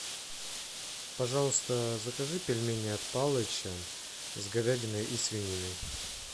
пожалуйста закажи пельмени от палыча с говядиной и свининой